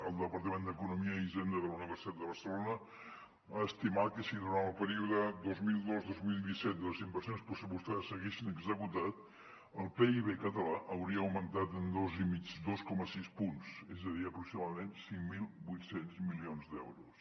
el departament d’economia i hisenda de la universitat de barcelona ha estimat que si durant el període dos mil dos dos mil disset les inversions pressupostades s’haguessin executat el pib català hauria augmentat en dos coma sis punts és a dir aproximadament cinc mil vuit cents milions d’euros